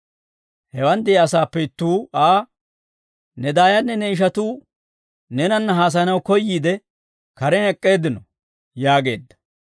Hewaan de'iyaa asaappe ittuu Aa, «Ne daayanne ne ishatuu neenanna haasayanaw koyyiide, karen ek'k'eeddino» yaageedda.